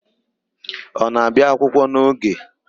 Ọ na-abịa akwụkwọ n'oge?